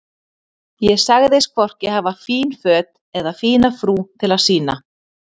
Ég sagðist hvorki hafa fín föt eða fína frú til að sýna.